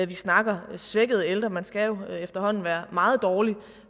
vi snakker om svækkede ældre man skal jo efterhånden være meget dårlig